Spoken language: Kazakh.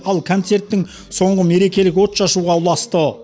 ал концерттің соңы мерекелік отшашуға ұласты